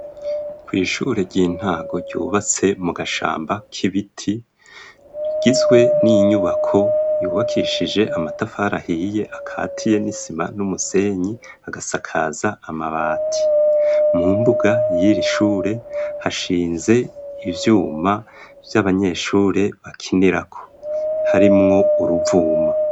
Kw'ishure ry'intango ryubatse mu gashamba k'ibiti gizwe n'inyubako yubakishije amatafarahiye akatiye n'isima n'umusenyi agasakaza amabati mu mbuga yira ishure hashinze ivyuma vy'abanyeshurebe kinerako harimwo uruvuma.